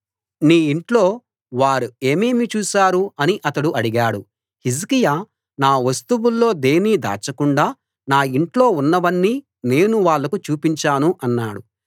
నీ ఇంట్లో వారు ఏమేమి చూశారు అని అతడు అడిగాడు హిజ్కియా నా వస్తువుల్లో దేన్నీ దాచకుండా నా ఇంట్లో ఉన్నవన్నీ నేను వాళ్లకు చూపించాను అన్నాడు